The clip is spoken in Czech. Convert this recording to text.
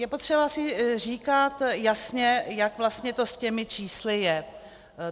Je potřeba si říkat jasně, jak vlastně to s těmi čísly je.